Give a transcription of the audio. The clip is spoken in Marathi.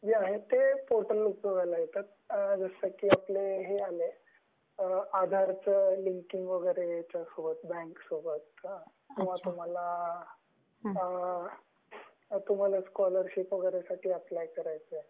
हे जे आहे ते पोर्टल उपयोगाला येतं. जस की आपला हे आहे न आधारच लिंकिंग वैगेरे बैंक सोबत ,तुम्हाला स्कॉलरशीप वैगेरे साठी अप्लाय करायचं आहे.